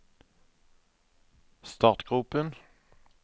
startgropen